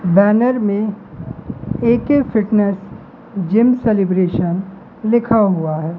Banner में A K fitness gym celebration लिखा हुआ है।